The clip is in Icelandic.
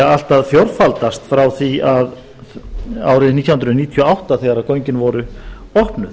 allt að fjórfaldast frá því árið nítján hundruð níutíu og átta þegar gögnin voru opnuð